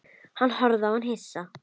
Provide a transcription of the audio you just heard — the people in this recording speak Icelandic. Hann horfði á hana hissa.